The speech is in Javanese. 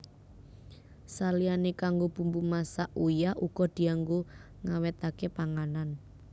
Saliyané kanggo bumbu masak uyah uga dianggo ngawètaké panganan